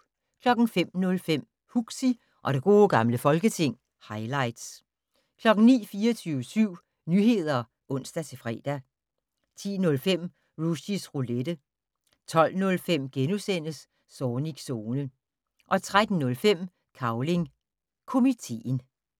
05:05: Huxi og det gode gamle folketing - highlights 09:00: 24syv Nyheder (ons-fre) 10:05: Rushys Roulette 12:05: Zornigs Zone * 13:05: Cavling Komiteen